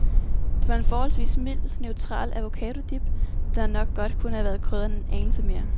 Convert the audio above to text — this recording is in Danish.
Det var en forholdvis mild, neutral avocado-dip, der nok godt kunne have været krydret en anelse mere.